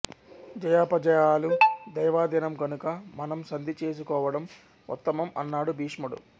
జయాపజయాలు దైవాధీనం కనుక మనం సంధి చేసు కోవడం ఉత్తమం అన్నాడు భీష్ముడు